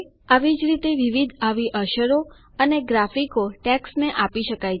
આવી જ રીતે વિવિધ આવી અસરો અને ગ્રાફિકો ટેક્સ્ટને આપી શકાય છે